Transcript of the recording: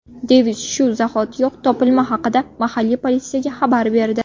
Devis shu zahotiyoq topilma haqida mahalliy politsiyaga xabar berdi.